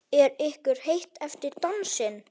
Er ykkur heitt eftir dansinn?